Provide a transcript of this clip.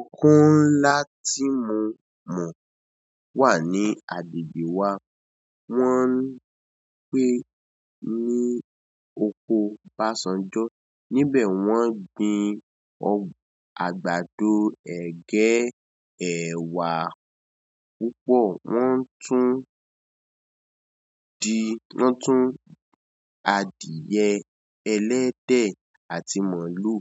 Òkun ńlá tí mo mọ̀ wà ní agbègbè wa. Wọ́n ń pé ní oko Basanjọ́. Níbẹ̀ wọ́n gbin àgbàdo, ẹ̀gẹ́, ẹ̀wà púpọ̀. Wọ́n tún di-- wọ́n tún adìẹ ẹlẹ́dẹ̀ àti maalú